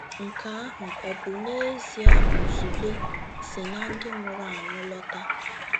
Nke ahụ ọ bụ n'ezie Buzugbe si na ndị nwụrụ anwụ lọta?